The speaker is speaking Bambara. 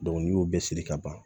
n'i y'o bɛɛ siri ka ban